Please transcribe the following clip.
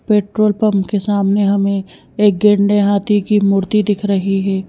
Petrol pump के सामने हमें एक गेंडे हाथी की मूर्ति दिख रही है।